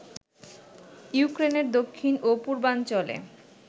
ইউক্রেনের দক্ষিণ ও পূর্বাঞ্চলে